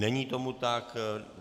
Není tomu tak.